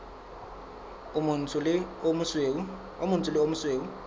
o motsho le o mosweu